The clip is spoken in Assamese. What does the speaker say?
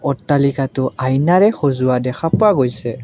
অট্টালিকাটো আয়নাৰে সজোৱা দেখা পোৱা গৈছে।